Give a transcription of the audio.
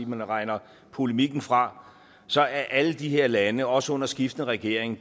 man regner polemikken fra så er alle de her lande også under skiftende regeringer